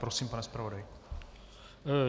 Prosím, pane zpravodaji.